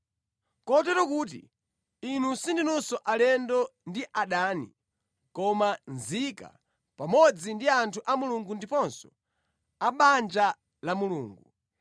Kotero kuti, inu sindinunso alendo ndi adani, koma nzika pamodzi ndi anthu a Mulungu ndiponso a mʼbanja la Mulungu.